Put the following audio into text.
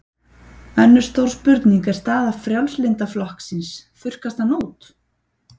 Önnur stór spurning er staða Frjálslynda flokksins, þurrkast hann út?